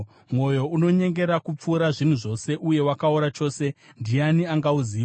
Mwoyo unonyengera kupfuura zvinhu zvose, uye wakaora chose. Ndiani angauziva?